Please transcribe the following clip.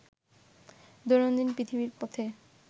দৈনন্দিন পৃথিবীর পথে